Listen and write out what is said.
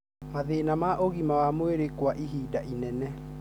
Mathĩna ma ũgima wa mwĩrĩ kwa ihinda inene.